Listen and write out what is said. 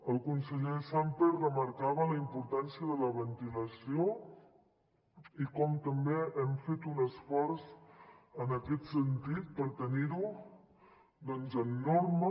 el conseller sàmper remarcava la importància de la ventilació i com també hem fet un esforç en aquest sentit per tenir ho com a norma